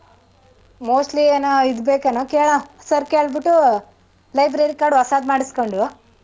Mostly ಏನೋ ಇದ್ ಬೇಕೆನೋ ಕೇಳಮ sir ಕೇಳ್ಬಿಟ್ಟು library card ಹೊಸಾದ್ ಮಾಡ್ಸ್ಕೊಂಡು.